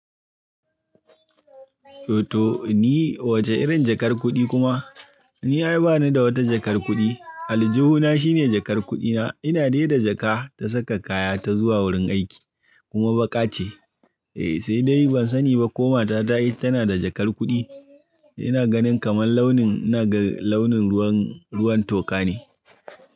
To, to ni wace irin jakar kuɗi kuma? Ni ya yi ba ni da wata jakar kuɗi. Aljihu na shine jakar kuɗi na. Ina dai da jaka ta saka kaya ta zuwa wurin aiki kuma baƙa ce. Eh, sai dai ban sani ba ko matata ita tana da jakar kuɗi. Ina ganin kamar launin, ina ga launin ruwan, ruwan toka ne.